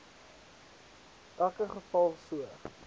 elke geval so